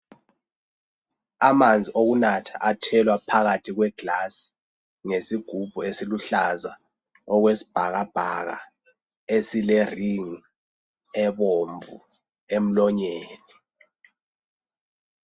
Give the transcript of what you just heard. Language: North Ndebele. Amanzi okunatha athelwa phakathi kwegilasi ngesigubhu esiluhlaza okwesibhakabhaka esileringi ebomvu emlonyeni.